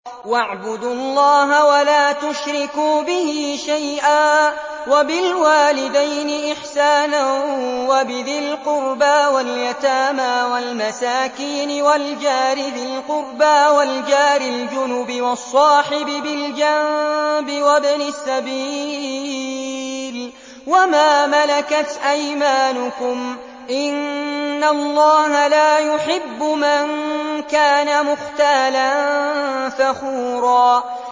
۞ وَاعْبُدُوا اللَّهَ وَلَا تُشْرِكُوا بِهِ شَيْئًا ۖ وَبِالْوَالِدَيْنِ إِحْسَانًا وَبِذِي الْقُرْبَىٰ وَالْيَتَامَىٰ وَالْمَسَاكِينِ وَالْجَارِ ذِي الْقُرْبَىٰ وَالْجَارِ الْجُنُبِ وَالصَّاحِبِ بِالْجَنبِ وَابْنِ السَّبِيلِ وَمَا مَلَكَتْ أَيْمَانُكُمْ ۗ إِنَّ اللَّهَ لَا يُحِبُّ مَن كَانَ مُخْتَالًا فَخُورًا